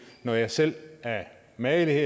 når jeg selv af magelighed